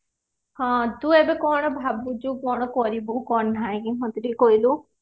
ହଁ ତୁ ଏବେ କଣ ଭାବୁଛୁ କଣ କରିବୁ କଣ ନାଇଁ ମତେ ଟିକେ କହିଲୁ